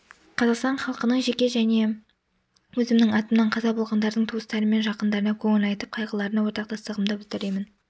қазақстан халқының және жеке өзімнің атымнан қаза болғандардың туыстары мен жақындарына көңіл айтып қайғыларына ортақтастығымды білдіремін